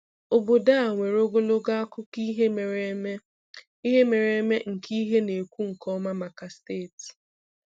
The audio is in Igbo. Obodo a nwere ogologo akụkọ ihe mere eme ihe mere eme nke ihe a na-ekwu nke ọma maka steeti